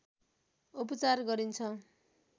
उपचार गरिन्छ